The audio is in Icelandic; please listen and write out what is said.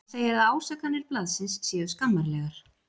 Hann segir að ásakanir blaðsins séu skammarlegar.